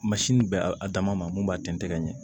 bɛ a dama ma mun b'a tɛntɛn